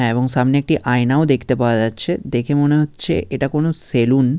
হ্যাঁ এবং সামনে একটি আয়নাও দেখতে পাওয়া যাচ্ছে দেখে মনে হচ্ছে এটা কোনো সেলুন ।